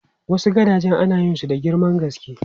Wasu gadajen ana yin su da girman gaske.